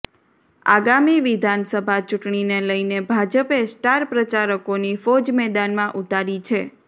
આગામી વિધાનસભા ચૂંટણીને લઈને ભાજપે સ્ટાર પ્રચારકોની ફોજ મેદાનમાં ઉતારી છે